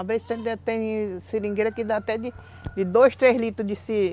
Às vezes tem tem seringueira que dá até de dois, três litros de